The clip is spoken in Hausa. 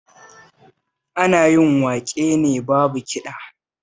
Ana yin waƙe ne babu kiɗa